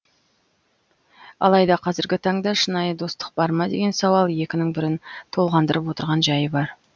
алайда қазіргі таңда шынайы достық бар ма деген сауал екінің бірін толғандырып отырған жайы бар